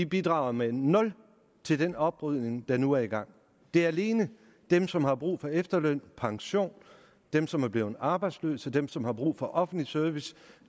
bidrager med nul til den oprydning der nu er i gang det er alene dem som har brug for efterløn og pension dem som er blevet arbejdsløse dem som har brug for offentlig service